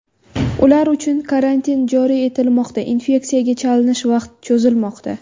Ular uchun karantin joriy etilmoqda, infeksiyaga chalinish vaqti cho‘zilmoqda.